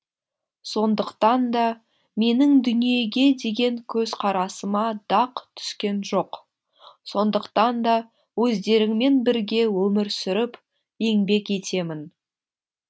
сондықтан да менің дүниеге деген көзқарасыма дақ түскен жоқ сондықтан да өздеріңмен бірге өмір сүріп еңбек етемін